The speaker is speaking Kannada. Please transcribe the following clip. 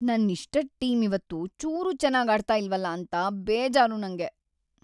ನನ್ನಿಷ್ಟದ್ ಟೀಮ್ ಇವತ್ತು ಚೂರೂ ಚೆನಾಗಾಡ್ತಾ ಇಲ್ವಲ್ಲ ಅಂತ ಬೇಜಾರು ನಂಗೆ.